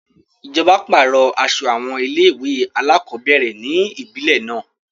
Ìjọba pàrọ̀ aso àwọn ilé-ìwé alákọ̀ọ́bẹ̀rẹ̀ ni ibile náà.